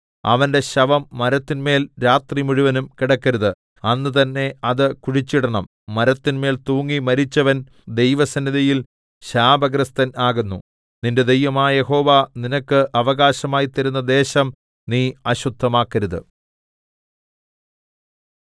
അവന്റെ ശവം മരത്തിന്മേൽ രാത്രിമുഴുവനും കിടക്കരുത് അന്നുതന്നെ അത് കുഴിച്ചിടണം മരത്തിന്മേൽ തൂങ്ങി മരിച്ചവൻ ദൈവസന്നിധിയിൽ ശാപഗ്രസ്തൻ ആകുന്നു നിന്റെ ദൈവമായ യഹോവ നിനക്ക് അവകാശമായി തരുന്ന ദേശം നീ അശുദ്ധമാക്കരുത്